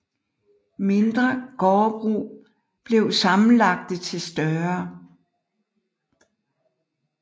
Mindre gårdbrug blev sammenlagte til større